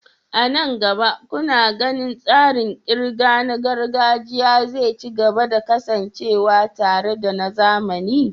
A nan gaba, kuna ganin tsarin ƙirga na gargajiya zai ci gaba da kasancewa tare da na zamani?